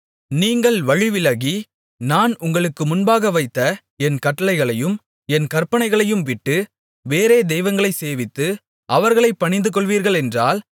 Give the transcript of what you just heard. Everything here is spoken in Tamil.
நீங்கள் வழிவிலகி நான் உங்களுக்கு முன்பாக வைத்த என் கட்டளைகளையும் என் கற்பனைகளையும்விட்டு வேறே தெய்வங்களைச் சேவித்து அவர்களைப் பணிந்துகொள்வீர்களென்றால்